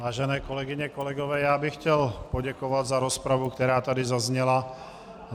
Vážené kolegyně, kolegové, já bych chtěl poděkovat za rozpravu, která tady zazněla.